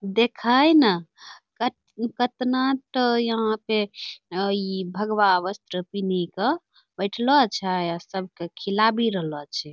देखैं ना कत कतना टो यहां पे ई भगवा वस्त्र पिन्हि क बैठलो छै आ सब के खिलाबी रहलो छे।